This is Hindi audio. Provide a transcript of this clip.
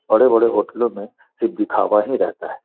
बड़े-बड़े होटलो में सिर्फ दिखावा ही रहता है।